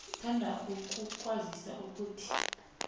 sithanda ukukwazisa ukuthi